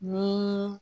Ni